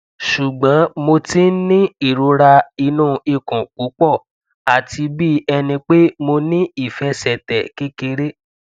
ṣugbọn mo ti n ni irora inu ikun pupọ ati bi ẹni pe mo ni ifẹsẹtẹ kekere